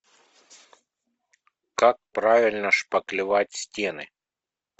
как правильно шпаклевать стены